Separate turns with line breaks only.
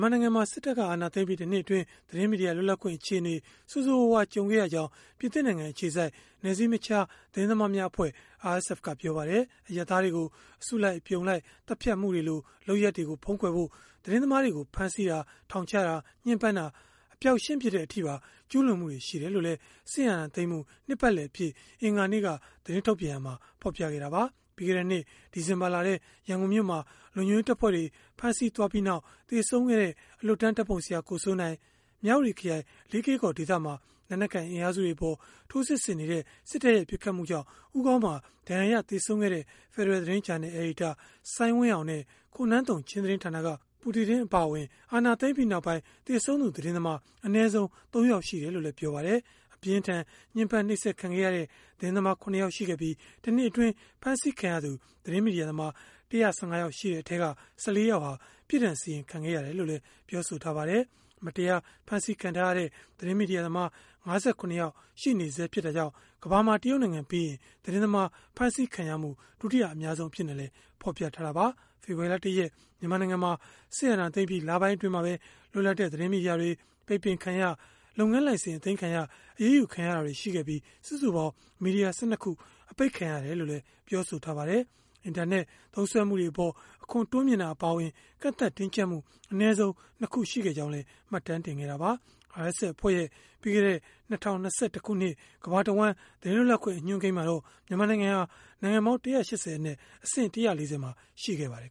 မာနိုင်ငံမှာ စစ်အာဏာသိမ်းပြီး ၁ နှစ်အတွင်း သတင်းမီဒီယာ လွတ်လပ်ခွင့်အခြေအနေ ဆိုးဆိုးရွားရွား ကြုံခဲ့ရကြောင်း ပြင်သစ်နိုင်ငံ အခြေစိုက် နယ်စည်းမခြား သတင်းသမားများအဖွဲ့ (RSF) ကပြောပါတယ်။ အရပ်သားတွေကို အစုလိုက် အပြုံလိုက် သတ်ဖြတ်မှုတွေလို လုပ်ရပ်တွေကို ဖုံးကွယ်ဖို့ သတင်းသမားတွေကို ဖမ်းဆီးတာ၊ ထောင်ချတာ၊ ညှင်းပန်းတာ၊ အပျောက်ရှင်းပစ်တဲ့ အထိပါ ကျုးလွန်မှုတွေ ရှိခဲ့တယ်လို့လည်း စစ်အာဏာသိမ်းမှု နှစ်ပတ်လည်အဖြစ် အင်္ဂါနေ့က သတင်းထုတ်ပြန်ရာမှာ ဖော်ပြခဲ့တာပါ။ ပြီးခဲ့တဲ့နှစ် ဒီဇင်ဘာလထဲ ရန်ကုန်မြို့မှာ လုံခြုံရေးတပ်ဖွဲ့တွေ ဖမ်းဆီးသွားပြီးနောက် သေဆုံးခဲ့တဲ့ အလွတ်တန်းဓာတ်ပုံဆရာ ကိုစိုးနိုင်၊ မြဝတီခရိုင်၊ လေးကေ့ကော် ဒေသမှာ လက်နက်ကိုင် အင်အားစုတွေအပေါ် ထိုးစစ်ဆင်နေတဲ့ စစ်တပ်ရဲ့ ပစ်ခတ်မှုကြောင့် ဦးခေါင်းမှာ ဒဏ်ရာရ သေဆုံးခဲ့တဲ့ ဖယ်ဒရယ်သတင်း ဂျာနယ် အယ်ဒီတာ စိုင်းဝင်းအောင် နဲ့ ခေါ်နုသုန် ချင်းသတင်းဌာနက Pu Tuidim အပါအဝင် အာဏာသိမ်းပြီးနောက်ပိုင်း သေဆုံးသူ သတင်းသမား အနည်းဆုံး ၃ ယောက် ရှိတယ်လို့လည်း ပြောပါတယ်။ အပြင်းအထန် ညှင်းပမ်းနှိပ်စက်ခံခဲ့ရတဲ့ သတင်းသမား ၇ ယောက် ရှိခဲ့ပြီး၊ ၁ နှစ်အတွင်း ဖမ်းဆီးခံရသူ သတင်းမီဒီယာသမား ၁၁၅ ယောက် ရှိခဲ့တဲ့အထဲက ၁၄ ယောက်ဟာ ပြစ်ဒဏ်စီရင်ခံခဲ့ ရတယ်လို့လည်း ပြောပါတယ်။ မတရား ဖမ်းဆီးခံထားရတဲ့ သတင်းမီဒီယာသမား ၅၇ ယောက် ရှိနေဆဲ ဖြစ်တာကြောင့် ကမ္ဘာမှာ တရုတ်နိုင်ငံပြီးရင်၊ သတင်းသမား ဖမ်းဆီးခံရမှု ဒုတိယ အများဆုံး အဖြစ်နဲ့လည်း ဖော်ပြထားတာပါ။ ဖေဖော်ဝါရီလ ၁ ရက် မြန်မာနိုင်ငံမှာ စစ်အာဏာသိမ်းပြီး လပိုင်းအတွင်းမှာပဲ လွတ်လပ်တဲ့ သတင်းမီဒီယာတွေ ပိတ်ပင်ခံရ၊ လုပ်ငန်းလိုင်စင် အသိမ်းခံရ၊ အရေးယူခံရတာတွေ ရှိခဲ့ပြီး စုစုပေါင်း မီဒီယာ ၁၂ ခု ပိတ်ခံခဲ့ရတယ်လို့လည်း ပြောပါတယ်။ အင်တာနက် သုံးစွဲမှုတွေအပေါ် အခွန်တိုးမြှင့်တာ အပါအဝင် ကန့်သတ်တင်းကျပ်မှု အနည်းဆုံး ၂ ခု ရှိခဲ့ကြောင်းလည်း မှတ်တမ်းတင်ခဲ့တာပါ။ RSF အဖွဲ့ရဲ့ ပြီးခဲ့တဲ့ ၂၀၂၁ ခုနှစ် ကမ္ဘာတဝှမ်း သတင်းလွတ်လပ်ခွင့် အညွှန်းကိန်းမှာတော့ မြန်မာနိုင်ငံဟာ နိုင်ငံပေါင်း ၁၈၀ အနက် အဆင့် ၁၄၀ မှာ ရှိခဲ့ပါတယ်